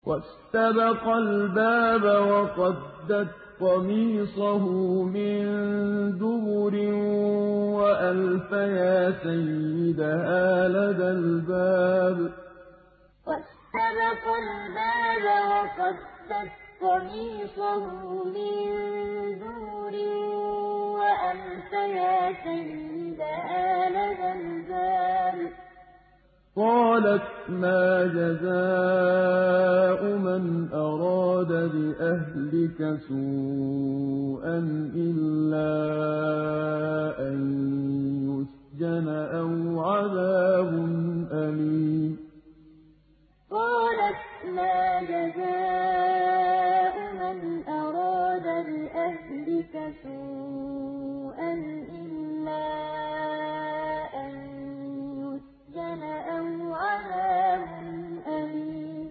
وَاسْتَبَقَا الْبَابَ وَقَدَّتْ قَمِيصَهُ مِن دُبُرٍ وَأَلْفَيَا سَيِّدَهَا لَدَى الْبَابِ ۚ قَالَتْ مَا جَزَاءُ مَنْ أَرَادَ بِأَهْلِكَ سُوءًا إِلَّا أَن يُسْجَنَ أَوْ عَذَابٌ أَلِيمٌ وَاسْتَبَقَا الْبَابَ وَقَدَّتْ قَمِيصَهُ مِن دُبُرٍ وَأَلْفَيَا سَيِّدَهَا لَدَى الْبَابِ ۚ قَالَتْ مَا جَزَاءُ مَنْ أَرَادَ بِأَهْلِكَ سُوءًا إِلَّا أَن يُسْجَنَ أَوْ عَذَابٌ أَلِيمٌ